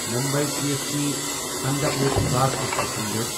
Mumbai C S T Pandharpur fast passenger